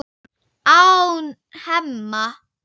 án Hemma.